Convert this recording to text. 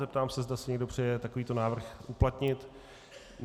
Zeptám se, zda si někdo přeje takový návrh uplatnit.